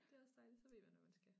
Det også dejligt så ved man hvad man skal